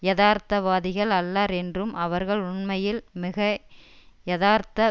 யதார்த்தவாதிகள் அல்லர் என்றும் அவர்கள் உண்மையில் மிகை யதார்த்த